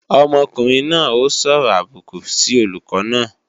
Ọmọkùnrin náà ó sọ̀rọ̀ àbùkù sí olùkọ́ náà